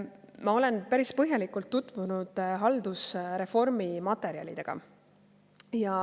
Ma olen päris põhjalikult tutvunud haldusreformi materjalidega.